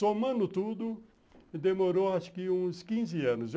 Somando tudo, demorou acho que uns quinze anos.